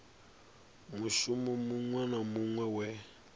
mushumo muṅwe na muṅwe we